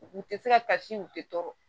U u tɛ se ka kasi u tɛ tɔɔrɔ